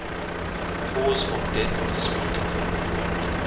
cause of death disputed